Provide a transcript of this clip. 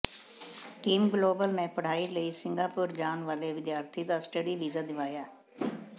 team global ਨੇ ਪੜ੍ਹਾਈ ਲਈ ਸਿੰਘਾਪੁਰ ਜਾਣ ਵਾਲੇ ਵਿਦਿਆਰਥੀ ਦਾ ਸਟੱਡੀ ਵੀਜ਼ਾ ਦਿਵਾਇਆ